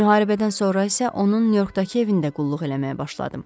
Müharibədən sonra isə onun Nyu-Yorkdakı evində qulluq eləməyə başladım.